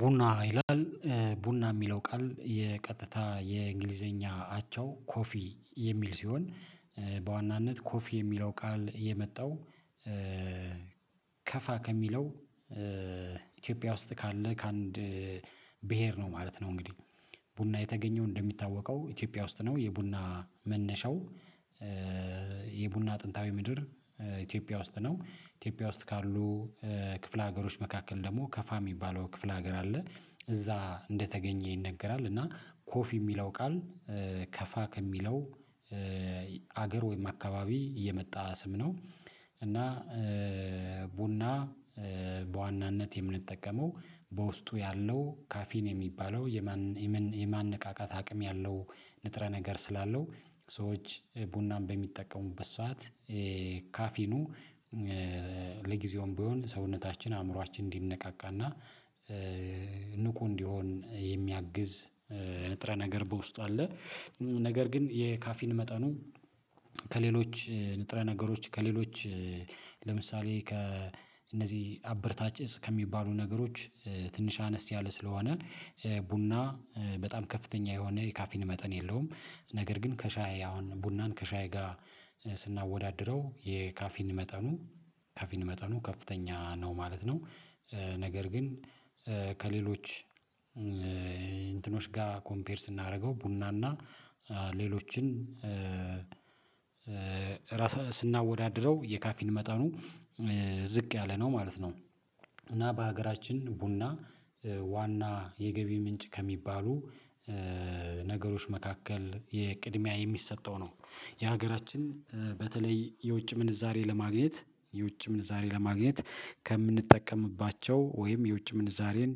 ቡና ይላል ቡና የሚለው ቃል የቀጥታ የእንግሊዘኛ አቻው ኮፊ የሚል ሲሆን በዋናነት ኮፊ የሚለው ቃል የመጣው ከፋ ከሚለው ኢትዮጵያ ውስጥ ካለ ከአንድ ብሄር ነው ማለት ነው። እንግዲህ ቡና የተገኘው እንደሚታወቀው ኢትዮጵያ ውስጥ ነው የቡና መነሻው የቡና አጥንታዊ ምድር ኢትዮጵያ ውስጥ ነው። ኢትዮጵያ ውስጥ ካሉ ክፍለ ሀገሮች መካከል ደግሞ ከፋ ሚባለው ክፍለ ሀገር አለ እዛ እንደተገኘ ይነገራል እና ኮፊ የሚለው ቃል ከፋ ከሚለው ሀገር ወይም አካባቢ የመጣ ስም ነው። እና ቡና በዋናነት የምንጠቀመው በውስጡ ያለው ካፊን የሚባለው የማን የማን የማነቃቃት አቅም ያለው ንጥረ ነገር ስላለው ሰዎች ቡናን በሚጠቀሙበት ሰዓት ካፊኑ ለጊዜውም ቢሆን ሰውነታችን አእምሮአችን እንዲነቃቃና ንቁ እንዲሆን የሚያግዝ ንጥረ ነገር በውስጥ አለ። ነገር ግን የካፊን መጠኑ ከሌሎች ንጥረ ነገሮች ከሌሎች ለምሳሌ ከእነዚህ አብረታች እፅ ከሚባሉ ነገሮች ትንሽ አነስ ያለ ስለሆነ ቡና በጣም ከፍተኛ የሆነ የካፌን መጠን የለውም ነገር ግን ከሻይ አሁን ቡናን ከሻይ ጋር ስናወዳድረው የካፊን መጠኑ ካፊን መጠኑ ከፍተኛ ነው ማለት ነው። ነገር ግን ከሌሎች እንትኖች ጋ ኮምፔር ስናደርገው ቡናና እና ሌሎችን ስናወዳድረው የካፊን መጠኑ ዝቅ ያለነው ማለት ነው። እና በሀገራችን ቡና ዋና የገቢ ምንጭ ከሚባሉ ነገሮች መካከል የቅድሚያ ሚሰጠው ነው የሀገራችን በተለይ የውጭ ምንዛሬ ለማግኘት የውጭ ምንዛሬ ለማግኘት ከምንጠቀምባቸው ወይም የውጭ ምንዛሬን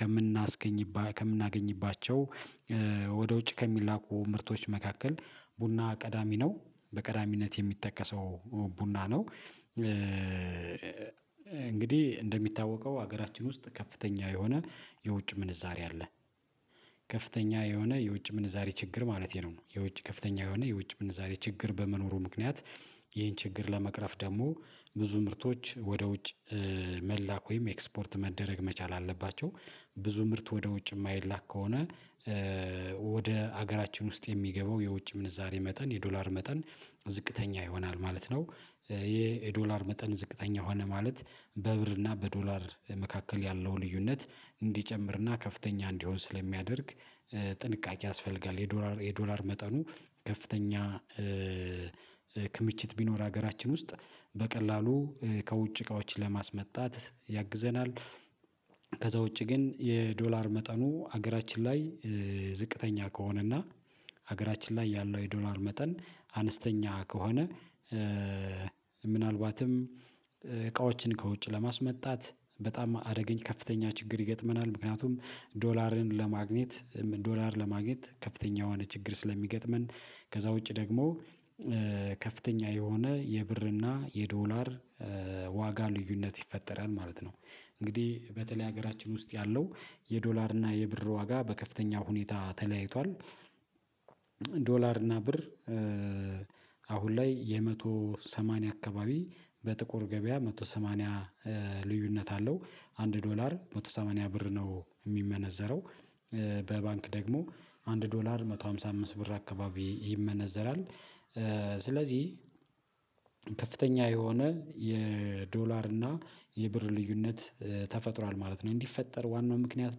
ከምናስገኝባ ከምናገኝባቸው ወደ ውጭ ከሚላኩ ምርቶች መካከል ቡና ቀዳሚ ነው በቀዳሚነት የሚተቀሰው ቡና ነው። እንግዲህ እንደሚታወቀው ሀገራችን ውስጥ ከፍተኛ የሆነ የውጭ ምንዛሬ አለ ከፍተኛ የሆነ የውጭ ምንዛሬ ችግር ማለቴ ነው የውጭ ከፍተኛ የሆነ የውጭ ምንዛሬ ችግር በመኖሩ ምክንያት ይሄን ችግር ለመቅረፍ ደግሞ ብዙ ምርቶች ወደ ውጭ መላኩ ወይም ኤክስፖርት መደረግ መቻል አለባቸው። ብዙ ምርት ወደ ውጭ የማይላክ ከሆነ ወደ ሀገራችን ውስጥ የሚገባው የውጭ ምንዛሬ መጠን የዶላር መጠን ዝቅተኛ ይሆናል ማለት ነው። ይሄ የዶላር መጠን ዝቅተኛ ሆነ ማለት በብር እና በዶላር መካከል ያለው ልዩነት እንዲጨምር እና ከፍተኛ እንዲሆን ስለሚያደርግ ጥንቃቄ ያስፈልጋል የዶላር የዶላር መጠኑ ከፍተኛ ክምችት ቢኖር ሀገራችን ውስጥ በቀላሉ ከውጭ እቃዎች ለማስመጣት ያግዘናል። ከዛ ውጪ ግን የዶላር መጠኑ ሀገራችን ላይ ዝቅተኛ ከሆነና ሀገራችን ላይ ያለው የዶላር መጠን አነስተኛ ከሆነ ምናልባትም እቃዎችን ከውጭ ለማስመጣት በጣም አደገኝ ከፍተኛ ችግር ይገጥመናል ምክንያቱም ዶላርን ለማግኘት ዶላር ለማግኘት ከፍተኛ የሆነ ችግር ስለሚገጥመን ከዛ ውጪ ደግሞ ከፍተኛ የሆነ የብርና የዶላር ዋጋ ልዩነት ይፈጠራል ማለት ነው። እንግዲህ በተለይ ሀገራችን ውስጥ ያለው የዶላር እና የብር ዋጋ በከፍተኛ ሁኔታ ተለያይቷል ዶላር እና ብር አሁን ላይ የመቶ ሰማንያ አካባቢ በጥቁር ገበያ መቶ ሰማንያ ልዩነት አለው አንድ ዶላር መቶ ሰማንያ ብር ነው ሚመነዘረው በባንክ ደግሞ አንድ ዶላር መቶ ሃምሳ አምስት ብር አካባቢ ይመነዘራል። ስለዚህ ከፍተኛ የሆነ የዶላር እና የብር ልዩነት ተፈጥሯል ማለት ነው እንዲፈጠር ዋናው ምክንያት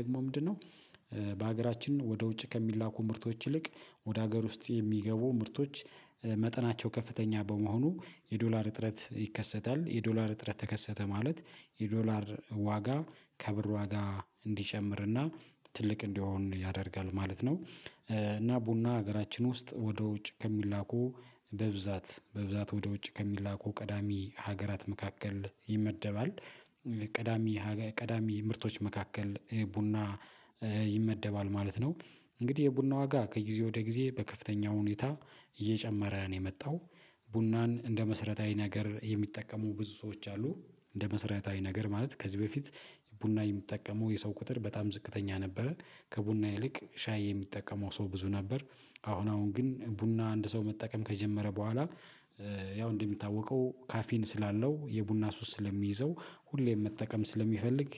ደግሞ ምንድነው? በሀገራችን ወደ ውጭ ከሚላኩ ምርቶች ይልቅ ወደ ሀገር ውስጥ የሚገቡ ምርቶች መጠናቸው ከፍተኛ በመሆኑ የዶላር እጥረት ይከሰታል የዶላር እጥረት ተከሰተ ማለት የዶላር ዋጋ ከብር ዋጋ እንዲሸምርና ትልቅ እንዲሆን ያደርጋል ማለት ነው። እና ቡና ሀገራችን ውስጥ ወደ ውጭ ከሚላኩ በብዛት በብዛት ወደ ውጭ ከሚላኩ ቀዳሚ ሀገራት መካከል ይመደባል ቀዳሚ ቀዳሚ ምርቶች መካከል ቡና ይመደባል ማለት ነው። እንግዲህ የቡና ዋጋ ከጊዜ ወደ ጊዜ በከፍተኛ ሁኔታ እየጨመረ ነው የመጣው። ቡናን እንደ መስረታዊ ነገር የሚጠቀሙ ብዙ ሰዎች አሉ። እንደ መሰረታዊ ነገር ማለት ከዚህ በፊት ቡና የምጠቀመው የሰው ቁጥር በጣም ዝቅተኛ ነበረ። ከቡና ይልቅ ሻይ የሚጠቀመው ሰው ብዙ ነበር። አሁን አሁን ግን ቡና አንድ ሰው መጠቀም ከጀመረ በኋላ ያው እንደሚታወቀው ካፊን ስላለው የቡና ሱስ ስለሚይዘው ሁሌም መጠቀም ስለሚፈልግ